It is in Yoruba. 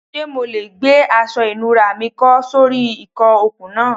Ṣe MO le gbe aṣọ ìnura mi kọ́ sori ìkọ okun naa